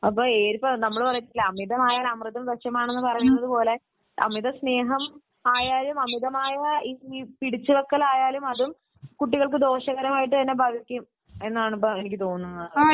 അപ്പോൾ നമ്മൾ പറയാറില്ലേ അമിതമായാൽ അമൃതും വിഷം എന്ന് പറയുന്നതുപോലെ , സ്നേഹം അമിതമായാലും അമിതമായ പിടിച്ചുവെക്കലായാലും അത് കുട്ടികൾക്ക് ദോഷകരമായിട്ടു തന്നെ ബാധിക്കും എന്നാണ് എനിക്ക് തോന്നുന്നത്